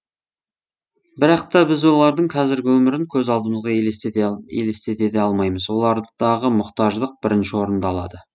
бірақ та біз олардың қазіргі өмірін көз алдымызға елестете де алмаймыз олардағы мұқтаждық бірінші орынды алады